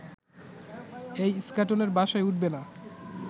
এই ইস্কাটনের বাসায় উঠবে না